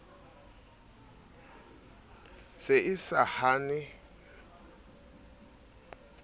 se e sa hane hwetla